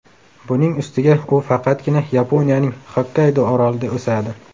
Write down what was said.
Buning ustiga u faqatgina Yaponiyaning Xokkaydo orolida o‘sadi.